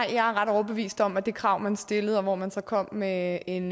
jeg er ret overbevist om at det krav man stillede hvor man så kom med en